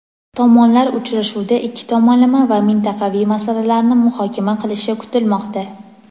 Tomonlar uchrashuvda ikki tomonlama va mintaqaviy masalalarni muhokama qilishi kutilmoqda.